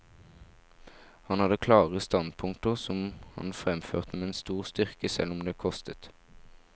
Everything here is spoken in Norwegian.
Han hadde klare standpunkter som han fremførte med stor styrke, selv om det kostet.